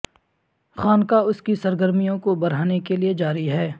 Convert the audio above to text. خانقاہ اس کی سرگرمیوں کو بڑھانے کے لئے جاری ہے